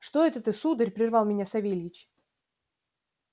что это ты сударь прервал меня савельич